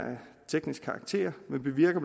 teknisk karakter men bevirker